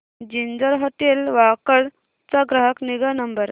ginger hotel Wakad चा ग्राहक निगा नंबर